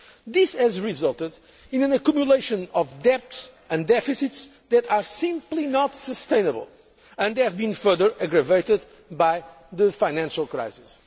This has resulted in an accumulation of debts and deficits that are simply not sustainable and have been further aggravated by the financial crisis.